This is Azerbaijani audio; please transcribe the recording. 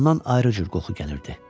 Ondan ayri cür qoxu gəlirdi.